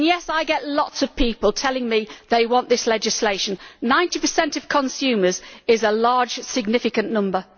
And, yes, I get lots of people telling me they want this legislation. Ninety per cent of consumers is a large, significant number.